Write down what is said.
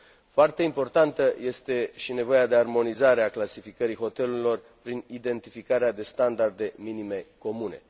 Foarte importantă este și nevoia de armonizare a clasificării hotelurilor prin identificarea de standarde minime comune.